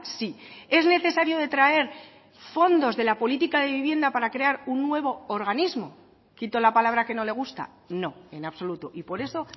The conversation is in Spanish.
sí es necesario detraer fondos de la política de vivienda para crear un nuevo organismo quito la palabra que no le gusta no en absoluto y por eso